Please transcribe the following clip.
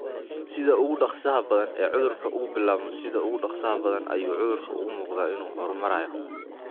Sida ugu dhakhsaha badan ee uu cudurku u bilaabmo, sida ugu dhakhsaha badan ayuu cudurku u muuqdaa inuu horumarayo.